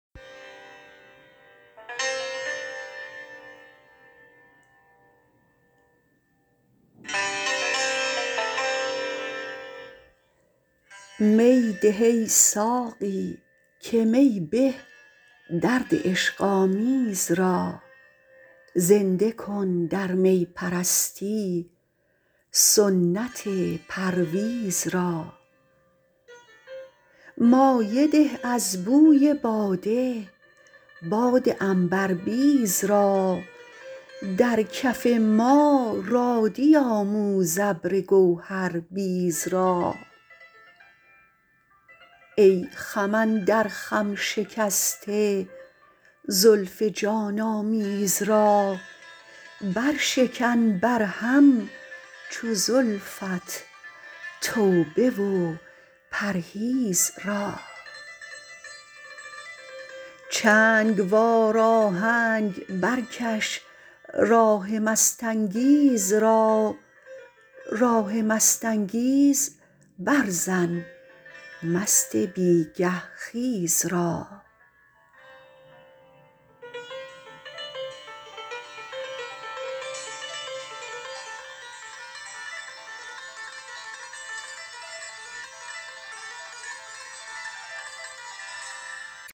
می ده ای ساقی که می به درد عشق آمیز را زنده کن در می پرستی سنت پرویز را مایه ده از بوی باده باد عنبربیز را در کف ما رادی آموز ابر گوهر بیز را ای خم اندر خم شکسته زلف جان آمیز را بر شکن بر هم چو زلفت توبه و پرهیز را چنگ وار آهنگ برکش راه مست انگیز را راه مست انگیز بر زن مست بیگه خیز را